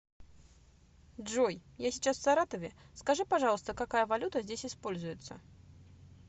джой я сейчас в саратове скажи пожалуйста какая валюта здесь используется